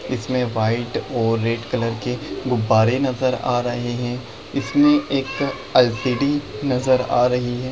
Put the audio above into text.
इसमें व्हाइट और red colour के गुब्बारे नज़र आ रहे है इसमें एक एल.सी.डी. नज़र आ रही है।